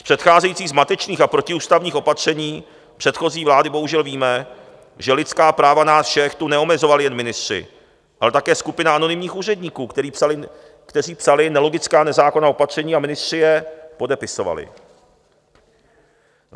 Z předcházejících zmatečných a protiústavních opatření předchozí vlády bohužel víme, že lidská práva nás všech tu neomezovali jen ministři, ale také skupina anonymních úředníků, kteří psali nelogická nezákonná opatření, a ministři je podepisovali.